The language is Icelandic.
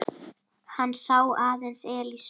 Hann sá aðeins Elísu.